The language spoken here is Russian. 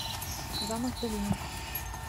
замок в долине